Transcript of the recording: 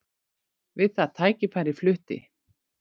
Við það tækifæri flutti